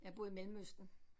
Jeg har boet i Mellemøsten